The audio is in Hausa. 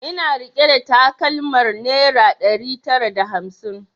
Ina rike da takalmar naira ɗari tara da hamsin